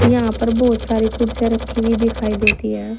यहां पर बहुत सारे कुर्सियां रखी हुई दिखाई देती है।